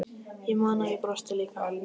Ég man að ég brosti líka.